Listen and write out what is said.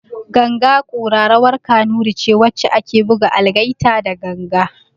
Ganga kura rawar kanuri ce wacce ake buga algaita da ganga